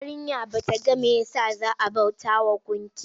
Yarinyar ta kasa game mai ya sa za a bautawa gunki?